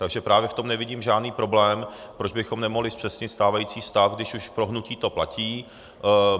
Takže právě v tom nevidím žádný problém, proč bychom nemohli zpřesnit stávající stav, když už pro hnutí to platí.